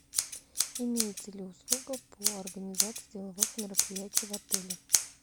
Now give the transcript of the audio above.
имеется ли услуга по организации деловых мероприятий в отеле